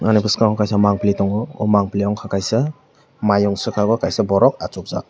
ani baskango kaisa mampli tongo aw mampli unkke kaisa maiung saka o kaisa borok achuk jaak.